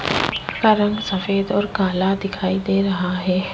इसका रंग सफेद और काला दिखाई दे रहा है।